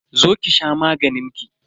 Zo ki sha maganin ki.